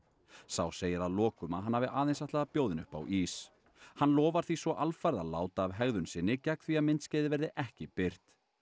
sá segir að lokum að hann hafi aðeins ætlað að bjóða henni upp á ís hann lofar því svo alfarið að láta af hegðun sinni gegn því að myndskeiðið verði ekki birt